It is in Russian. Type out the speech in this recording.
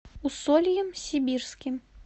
усольем сибирским